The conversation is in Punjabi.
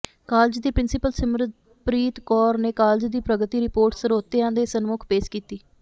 ਕਾਲਜ ਦੀ ਪ੍ਰਿੰਸੀਪਲ ਸਿਮਰਪ੍ਰੀਤ ਕੌਰ ਨੇ ਕਾਲਜ ਦੀ ਪ੍ਰਗਤੀ ਰਿਪੋਰਟ ਸਰੋਤਿਆਂ ਦੇ ਸਨਮੁਖ ਪੇਸ਼ ਕੀਤੀ